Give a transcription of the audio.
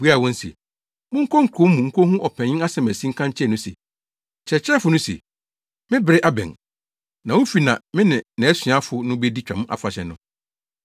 Obuaa wɔn se, “Monkɔ kurow no mu nkohu ɔpanyin asiamasi nka nkyerɛ no se, ‘Kyerɛkyerɛfo no se, Me bere abɛn, na wo fi na me ne nʼasuafo no bedi Twam Afahyɛ no.’ ”